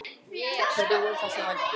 Hverjir voru það sem vældu?